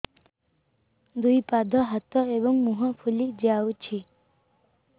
ଦୁଇ ପାଦ ହାତ ଏବଂ ମୁହଁ ଫୁଲି ଯାଉଛି